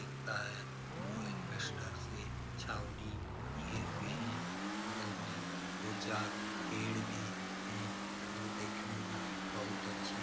दिखता है जो एल्बेस्टर से छावनी किये हुए हैं बगल में दो-चार पेड़ भी हैं जो देखने में बहुत अच्छे --